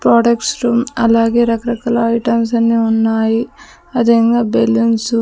products room అలాగే రకరకాల items అన్నీ ఉన్నాయి అదేంగా బెలూన్సు --